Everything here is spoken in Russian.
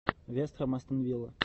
вест хэм астон вилла